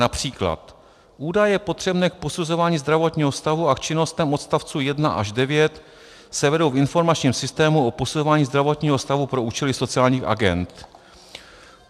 Například: Údaje potřebné k posuzování zdravotního stavu a k činnostem odstavců 1 až 9 se vedou v informačním systému o posuzování zdravotního stavu pro účely sociálních agend.